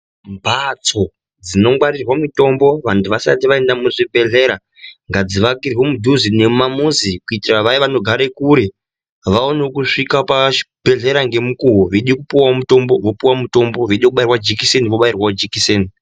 Mbatso dzinongwarirwa mitombo vantu vasati vaenda muzvibhedhlera ngadzivakirwe mudhuze nemumamuzi kuitira vaya vanogare kure, vawanewo kusvika pazvibhedhlera ngemukuwo. Veipuwawo mutombo, vopuwa, mutombo vechobairwa jikiseni vobairwawo jikiseni.